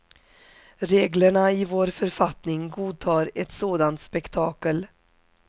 Reglerna i vår författning godtar ett sådant spektakel.